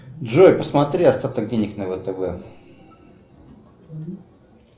джой посмотри остаток денег на втб